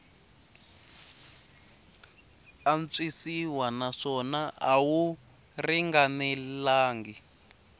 antswisiwa naswona a wu ringanelangi